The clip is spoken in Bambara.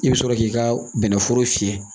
I bɛ sɔrɔ k'i ka bɛnɛforo fiyɛ